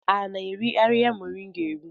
A na-eri ahihia moringa eri?